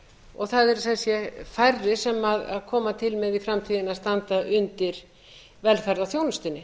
og það eru sem sé færri sem koma til með í framtíðinni að standa undir velferðarþjónustunni